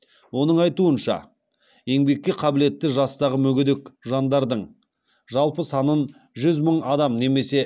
оның айтуынша еңбекке қабілетті жастағы мүгедек жандардың жалпы санынан жүз мың адам немесе